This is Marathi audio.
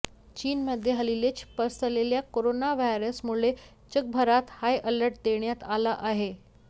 चीनमध्ये हल्लीच पसरलेल्या कोरोना व्हायरसमुळे जगभरात हाय अलर्ट देण्यात आला आहे